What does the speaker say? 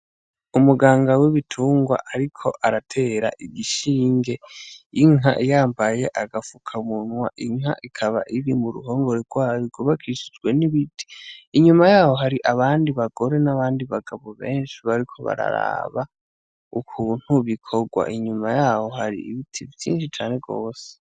Umuganga w'ibitungwa ariko aratera igishinge inka yambaye agafukamunwa, inka ikaba iri muruhongore rwayo rwubakishijwe n'ibiti. Inyuma yaho hari abandi bagore n'abandi bagabo benshi bariko bararaba ukuntu bikorwa, inyuma yaho hari ibiti vyinshi cane gose.